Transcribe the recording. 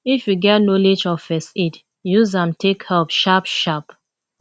if you get knowlege of first aid use am take help sharp sharp